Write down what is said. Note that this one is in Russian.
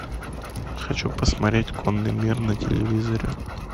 хочу посмотреть конный мир на телевизоре